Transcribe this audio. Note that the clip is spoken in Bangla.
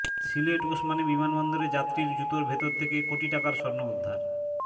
সিলেট ওসমানী বিমানবন্দরে যাত্রীর জুতার ভেতর থেকে কোটি টাকার স্বর্ণ উদ্ধার